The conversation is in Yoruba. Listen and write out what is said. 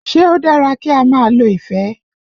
Ṣé ó dára kí á máa lo ìfẹ́?